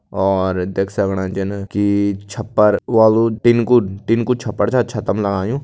और देख सकणा जन की छप्पर वालू टिन कु टिन कु छप्पर छा छतम लगायूं।